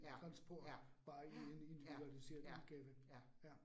Ja, ja, ja, ja, ja, ja